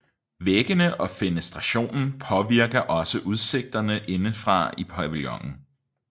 Væggene og fenestrationen påvirker også udsigterne indefra i pavillonen